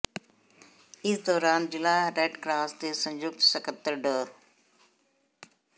ਇਸ ਦੌਰਾਨ ਜ਼ਿਲ੍ਹਾ ਰੈਡ ਕਰਾਸ ਦੇ ਸੰਯੁਕਤ ਸਕੱਤਰ ਡਾ